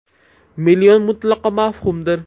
Million mutlaqo mavhumdir.